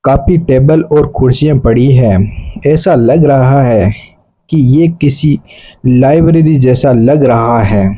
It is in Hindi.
काफी टेबल और कुर्सियां पड़ी हैं ऐसा लग रहा है कि ये किसी लाइब्रेरी जैसा लग रहा है।